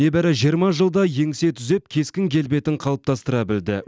небәрі жиырма жылда еңсе түзеп кескін келбетін қалыптастыра білді